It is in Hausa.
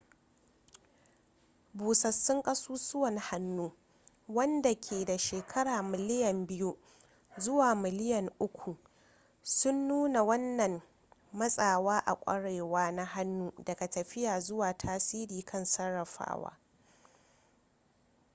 busassun kasussuwan hannu wanda ke da shekaru miliyan biyu zuwa miliyan uku sun nunna wannan matsawa a kwarewa na hannun daga tafiya zuwa tasiri kan sarrafawa